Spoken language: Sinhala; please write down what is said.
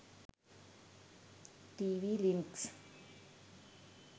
tv links